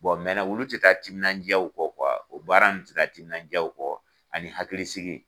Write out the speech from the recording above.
olu tɛ ta timinan diyaw kɔ o baara nunnu tɛ ta timinan diya kɔ ani hakilisigi.